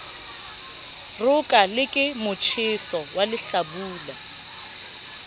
roka le ke motjheso walehlabula